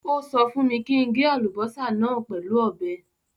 Ó sọ fún mi kí n gé àlùbọ́sà náà pẹ̀lú ọ̀bẹ.